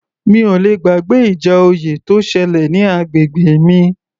Mi ò le gbàgbé ìjà oyè tó ṣẹlẹ̀ ní agbègbè mi